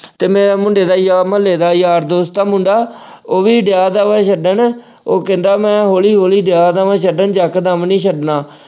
ਤੇ ਮੈਂ ਮੁੰਡੇ ਦਾ ਯਾਰ ਮੁਹੱਲੇ ਦਾ ਯਾਰ ਦੋਸਤ ਆ ਮੁੰਡਾ, ਉਹ ਵੀ ਡਿਆ ਤਾ ਹੈਗਾ ਵਾ ਛੱਡਣ, ਉਹ ਕਹਿੰਦਾ ਮੈਂ ਹੌਲੀ-ਹੌਲੀ ਡਿਆ ਤਾ ਵਾ ਛੱਡਣ ਇਕਦਮ ਨਹੀਂ ਛੱਡਣਾ।